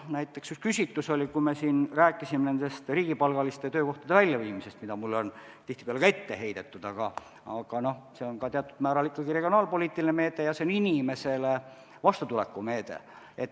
Näiteks, me siin rääkisime riigipalgaliste töökohtade väljaviimisest, mida mulle on ka tihtipeale ette heidetud, aga see on teatud määral ikkagi regionaalpoliitiline meede ja see on inimesele vastutuleku meede.